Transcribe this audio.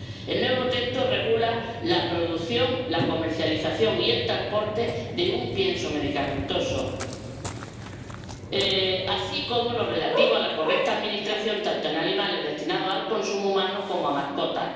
El nuevo texto regula la producción, la comercialización y el transporte de piensos medicamentosos, así como lo relativo a la correcta administración tanto en animales destinados al consumo humano como en mascotas.